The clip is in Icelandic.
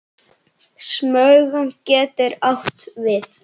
Smugan getur átt við